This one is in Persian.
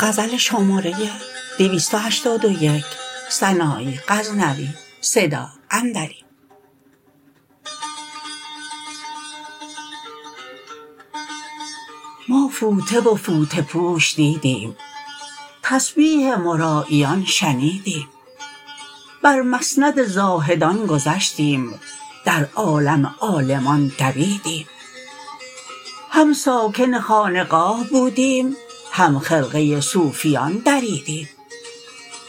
ما فوطه و فوطه پوش دیدیم تسبیح مراییان شنیدیم بر مسند زاهدان گذشتیم در عالم عالمان دویدیم هم ساکن خانقاه بودیم هم خرقه صوفیان دریدیم